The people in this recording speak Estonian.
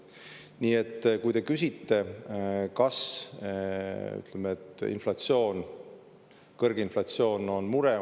Nii et kui te küsite, kas kõrge inflatsioon on mure.